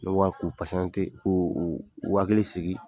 k'u hakili sigi.